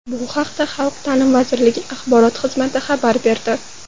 Bu haqda Xalq ta’limi vazirligi Axborot xizmati xabar berdi.